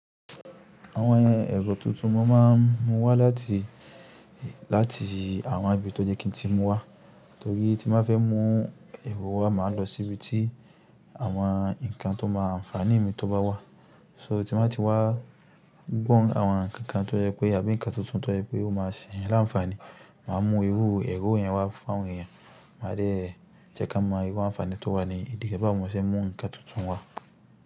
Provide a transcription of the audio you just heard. Àwọn ẹ̀rọ tuntun mọ́ máa ń mú wá láti, láti àwọn ibi tó yẹ́ kí ń tí mú wá, torí tí mo ba fẹ́ mú ẹ̀rọ wá, màá lọ síbi tí àwọn ǹkan tó máa ń fani mi tó bá wá. So tí n bàá ti wá gbọ́n àwọn ǹkan kan tó jẹ́ pé àbí ǹkan tuntun tó jẹ́ pé ó máa ṣe yan lánfani, màá mú irú ẹ̀rọ yẹn wá fún àwọn èèyàn. Màá dee jẹ́ kán mọ irú àǹfààní tó wà ní ìdí re bawo mo ṣe n mú ǹkan tuntun wá.